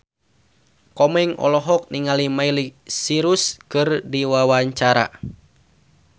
Komeng olohok ningali Miley Cyrus keur diwawancara